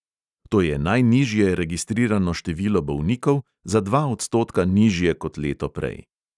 To je najnižje registrirano število bolnikov, za dva odstotka nižje kot leto prej.